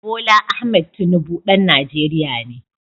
Bola Ahmed Tinubu ɗan Najeriya ne